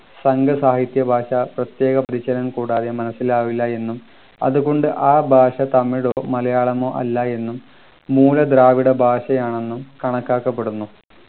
സംഘ സാഹിത്യഭാഷ പ്രത്യേക പരിചയം കൂടാതെ മനസ്സിലാവില്ല എന്നും അതുകൊണ്ട് ആ ഭാഷ തമിഴയോ മലയാളമോ അല്ലാ എന്നും മൂല ദ്രാവിഡ ഭാഷയാണെന്നും കണക്കാക്കപ്പെടുന്നു